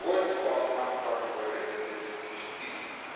Dat hoort gewoon aangepakt te worden in dit initiatief.